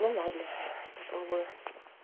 ну ладно попробую